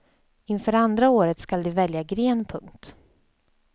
Inför andra året skall de välja gren. punkt